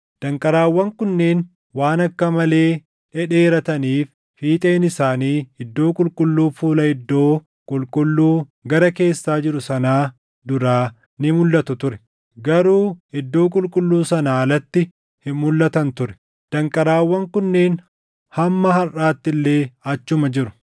Danqaraawwan kunneen waan akka malee dhedheerataniif fiixeen isaanii Iddoo Qulqulluu fuula iddoo qulqulluu gara keessaa jiru sanaa duraa ni mulʼatu ture; garuu Iddoo Qulqulluu sanaa alatti hin mulʼatan ture; danqaraawwan kunneen hamma harʼaatti illee achuma jiru.